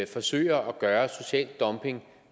forsøger at gøre social dumping